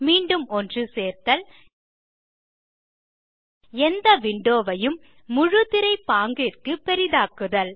மீண்டும் ஒன்றுசேர்த்தல் எந்த விண்டோ ஐயும் முழு திரை பாங்கிற்கு பெரிதாக்குதல்